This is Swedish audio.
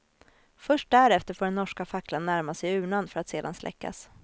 Först därefter får den norska facklan närma sig urnan för att sedan släckas.